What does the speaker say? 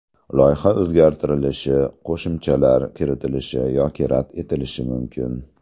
Loyiha o‘zgartirilishi, qo‘shimchalar kiritilishi yoki rad etilishi mumkin.